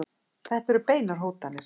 Þetta eru beinar hótanir.